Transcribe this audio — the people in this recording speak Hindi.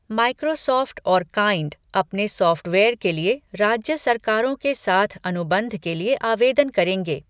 माइक्रोसॉफ्ट और काइंड अपने सॉफ़्टवेयर के लिए राज्य सरकारों के साथ अनुबंध के लिए आवेदन करेंगे।